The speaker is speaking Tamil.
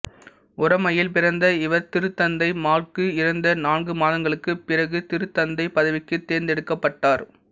உரோமையில் பிறந்த இவர் திருத்தந்தை மாற்கு இறந்த நான்கு மாதங்களுக்குப் பிறகு திருத்தந்தைப் பதவிக்குத் தேர்ந்தெடுக்கப்பட்டார்